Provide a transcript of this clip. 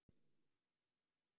Hún er vissulega mjög fögur.